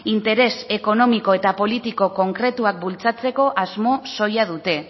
interes ekonomiko eta politiko konkretuak bultzatzeko asmo soila dute